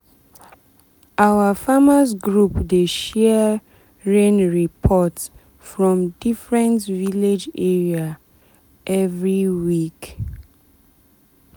our farmers’ group dey share rain report from different village area every week.